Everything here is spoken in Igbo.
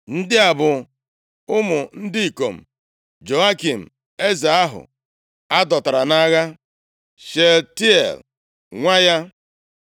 Ndị a bụ ụmụ ndị ikom Jehoiakin, eze ahụ a dọtara nʼagha: Shealtiel, nwa ya,